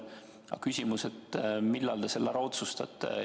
Aga küsimus on, millal te selle ära otsustate.